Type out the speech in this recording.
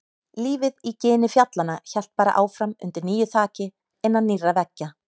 Lífið í gini fjallanna hélt bara áfram undir nýju þaki, innan nýrra veggja.